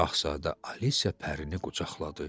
Şahzadə Alisa pərini qucaqladı.